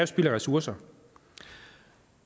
spild af ressourcer